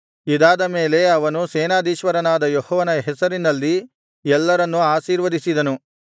ಇದಾದ ಮೇಲೆ ಅವನು ಸೇನಾಧೀಶ್ವರನಾದ ಯೆಹೋವನ ಹೆಸರಿನಲ್ಲಿ ಎಲ್ಲರನ್ನೂ ಆಶೀರ್ವದಿಸಿದನು